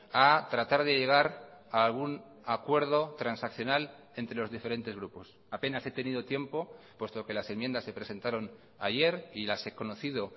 a tratar de llegar a algún acuerdo transaccional entre los diferentes grupos apenas he tenido tiempo puesto que las enmiendas se presentaron ayer y las he conocido